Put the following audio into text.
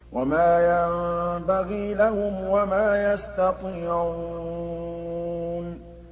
وَمَا يَنبَغِي لَهُمْ وَمَا يَسْتَطِيعُونَ